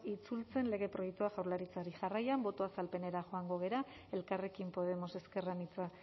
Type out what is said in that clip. itzultzen lege proiektua jaurlaritzari jarraian boto azalpenera joango gara elkarrekin podemos ezker anitza